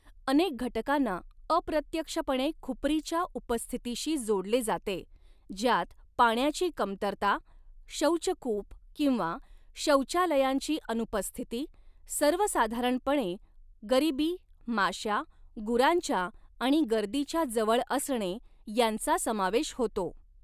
अनेक घटकांना अप्रत्यक्षपणे खुपरीच्या उपस्थितीशी जोडले जाते, ज्यात पाण्याची कमतरता, शौचकूप किंवा शौचालयांची अनुपस्थिती, सर्वसाधारणपणे गरिबी, माश्या, गुरांच्या आणि गर्दीच्या जवळ असणे, यांचा समावेश होतो.